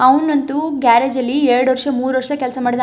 ಅವನಂತೂ garage ಅಲ್ಲಿ ಎರಡು ವರ್ಷ ಮೂರ್ ವರ್ಷ ಕೆಲಸ --